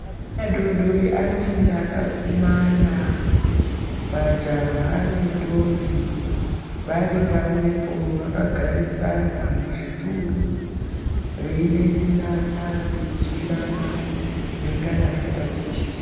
Ana adododri anofunda akakumana majaha nendombi vari pamwepo vakagarisana muzvituru veidetserana veizwirana zvinengana zvatatichiswa.